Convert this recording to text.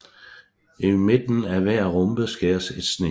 I midten af hver rombe skæres et snit